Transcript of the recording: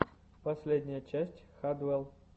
последняя часть хадвел